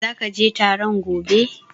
Are you going to the meeting tomorrow?